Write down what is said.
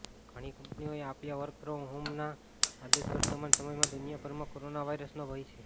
ઘણી કંપનીઓએ આપ્યા વર્ક ફ્રોમ હોમના આદેશવર્તમાન સમયમાં દુનિયાભરમાં કોરોના વાયરસનો ભય છે